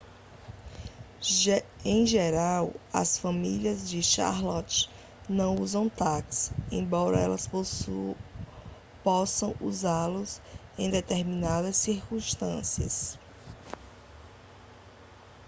em geral as famílias de charlotte não usam táxis embora elas possam usá-los em determinadas circunstâncias